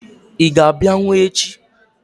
Ị ga-abịanwu echi?